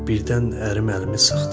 Birdən ərim əlimi sıxdı.